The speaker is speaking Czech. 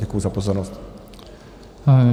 Děkuji za pozornost.